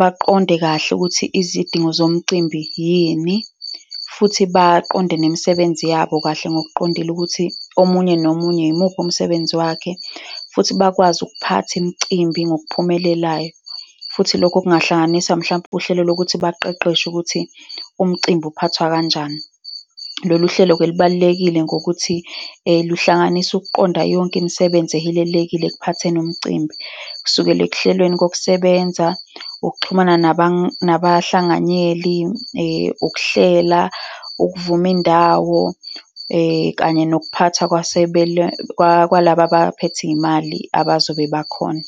baqonde kahle ukuthi izidingo zomcimbi yini, futhi baqonde nemisebenzi yabo kahle ngokuqondile ukuthi omunye nomunye yimuphi umsebenzi wakhe, futhi bakwazi ukuphatha imicimbi ngokuphumelelayo. Futhi lokho kungahlanganisa mhlawumpe uhlelo lokuthi baqeqeshwe ukuthi umcimbi uphathwa kanjani. Lolu hlelo-ke, lubalulekile ngokuthi luhlanganisa ukuqonda yonke imisebenzi ezihilelekile ekuphatheni umcimbi, kusukela ekuhlelweni kokusebenza, ukuxhumana nabahlanganyeli, ukuhlela, ukuvuma indawo kanye nokuphathwa kwalaba abaphethe iy'mali abazobe bakhona.